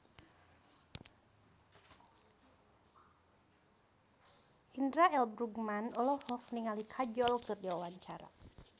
Indra L. Bruggman olohok ningali Kajol keur diwawancara